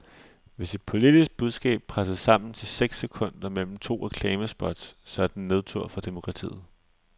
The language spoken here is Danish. Hvis et politisk budskab presses sammen til seks sekunder mellem to reklamespots, så er det nedtur for demokratiet.